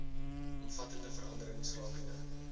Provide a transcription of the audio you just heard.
omvattende veranderings rakende